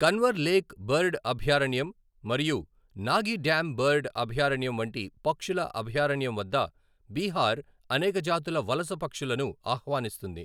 Kanwar lake bird అభయారణ్యం మరియు Nagi dam bird అభయారణ్యం వంటి పక్షుల అభయారణ్యం వద్ద బీహార్ అనేక జాతుల వలస పక్షులను ఆహ్వానిస్తుంది.